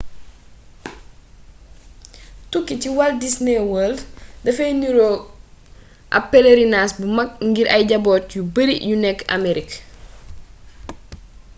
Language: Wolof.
tukki ci walt disney world dafay nirook ab pelirinaas bu mag ngir ay njaboot yu bari yu nekk amerik